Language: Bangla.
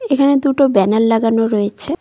এখানে দুটো ব্যানার লাগানো রয়েছে।